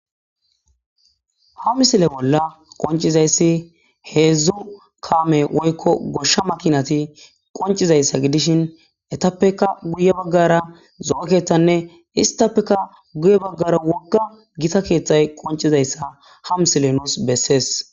ha misile bolla qoncizayssi heedzdzu kaame woykko goshsha makinati qoncizayssa gidishin etappeka guye baggara zo7o keththanne istappeka guye baggara wogga gita keeththay qoncizayssa ha misile nuus bessees